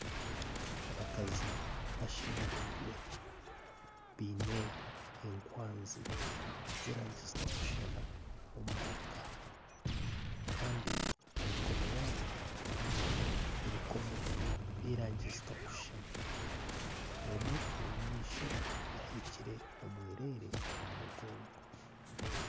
Abakazi bashemerirwe baine ekwanzi z'erangi zitakushuushana omu maraaka kandi aha mikono yaabo baineho ebikoomo by'erangi zitakushuushana omwe ow'omumaisho aheekire omwereere omu mugongo.